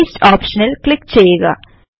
paste ഓപ്ഷനിൽ click ചെയ്യുക